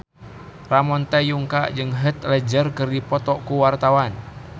Ramon T. Yungka jeung Heath Ledger keur dipoto ku wartawan